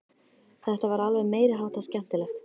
Þetta var alveg meiri háttar skemmtilegt!